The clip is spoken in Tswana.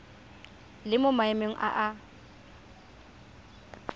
le mo maemong a a